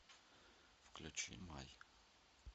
включи май